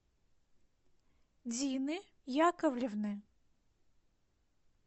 дины яковлевны